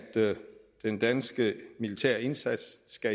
den danske militære indsats